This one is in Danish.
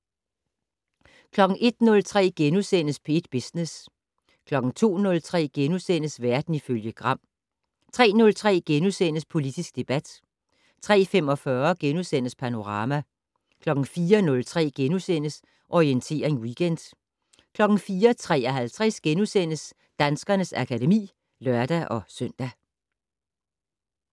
01:03: P1 Business * 02:03: Verden ifølge Gram * 03:03: Politisk debat * 03:45: Panorama * 04:03: Orientering Weekend * 04:53: Danskernes akademi *(lør-søn)